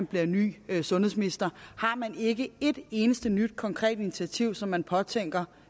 blevet ny sundhedsminister har man ikke et eneste nyt konkret initiativ som man påtænker